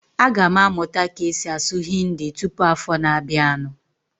Aga m amụta ka-esi asụ Hindi tụpụ afọ na abianu